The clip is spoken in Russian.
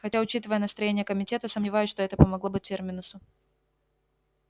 хотя учитывая настроения комитета сомневаюсь что это помогло бы терминусу